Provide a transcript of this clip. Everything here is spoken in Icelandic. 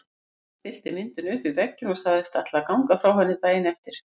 Lúna stillti myndinni upp við vegginn og sagðist ætla að ganga frá henni daginn eftir.